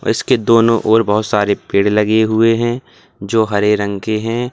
और इसके दोनों ओर बहोत सारे पेड़ लगे हुए हैं जो हरे रंग के हैं।